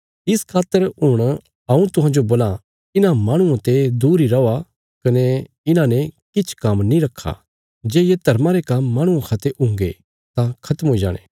इस खातर हुण हऊँ तुहांजो बोलां इन्हां माहणुआं ते दूर इ रौआ कने इन्हांने किछ काम्म नीं रखा काँह्भई जे ये धर्म या काम्म माणुआं खा ते हुंगे तां खत्म हुई जाणे